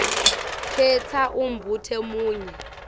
khetsa umbuto munye